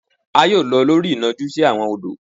a yoo lọ lori inọju si awọn odò.